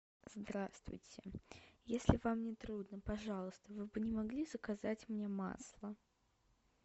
здравствуйте если вам не трудно пожалуйста вы бы не могли заказать мне масло